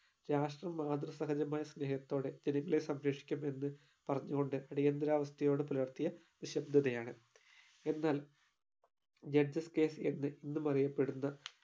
രാഷ്ട്രം മാതൃ സഹജമായ സ്നേഹത്തോടെ ജനങ്ങളെ സംരക്ഷിക്കും എന്ന് പറഞ്ഞോണ്ട് അടിയന്തരാവസ്ഥയോട് പുലർത്തിയ നിശബ്ദതയാണ്. എന്നാൽ judges case എന്ന് ഇന്നും അറിയപ്പെടുന്ന